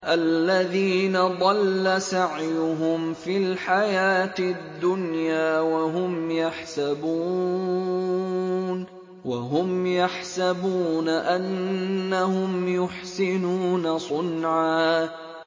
الَّذِينَ ضَلَّ سَعْيُهُمْ فِي الْحَيَاةِ الدُّنْيَا وَهُمْ يَحْسَبُونَ أَنَّهُمْ يُحْسِنُونَ صُنْعًا